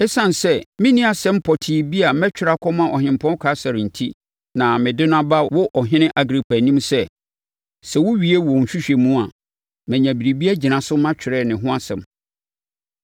Esiane sɛ menni asɛm pɔtee bi a mɛtwerɛ akɔma Ɔhempɔn Kaesare enti, na mede no aba wo Ɔhene Agripa anim sɛ, sɛ wowie wo nhwehwɛmu a, manya biribi agyina so matwerɛ ne ho asɛm.